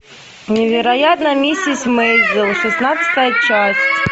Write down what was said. невероятная миссис мейзел шестнадцатая часть